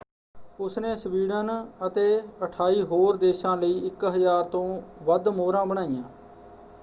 ਉਸਨੇ ਸਵੀਡਨ ਅਤੇ 28 ਹੋਰ ਦੇਸ਼ਾਂ ਲਈ 1,000 ਤੋਂ ਵੱਧ ਮੋਹਰਾਂ ਬਣਾਈਆਂ।